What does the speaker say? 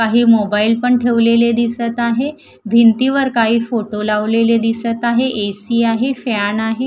काही मोबाईल पण ठेवलेले दिसतं आहे. भिंतीवर काही फोटो लावलेले दिसतं आहे. ए_सी आहे फॅन आहे.